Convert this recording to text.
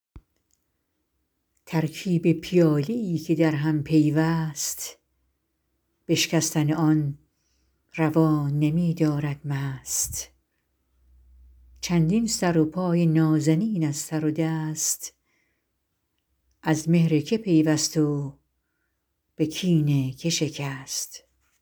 ترکیب پیاله ای که در هم پیوست بشکستن آن روا نمی دارد مست چندین سر و پای نازنین از سر دست از مهر که پیوست و به کین که شکست